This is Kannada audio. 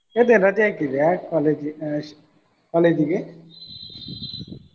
ಇವತ್ತೇನ ರಜೆ ಹಾಕಿದ್ದೀಯಾ college college ಗೆ.